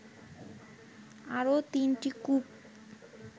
আরো ৩টি কূপ